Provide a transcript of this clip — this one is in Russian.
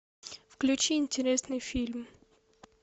включи интересный фильм